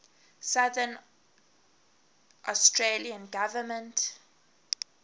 south australian government